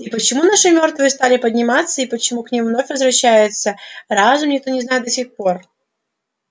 и почему наши мёртвые стали подниматься и почему к ним вновь возвращается разум никто не знает до сих пор